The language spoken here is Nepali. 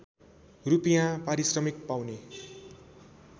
रूपियाँ पारिश्रमिक पाउने